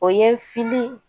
O ye fili